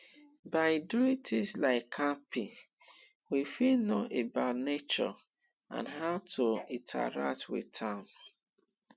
by doing things like camping we fit know about nature and how to interact with am